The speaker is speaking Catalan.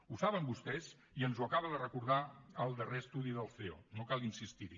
ho saben vostès i ens ho acaba de recordar el darrer estudi del ceo no cal insistir hi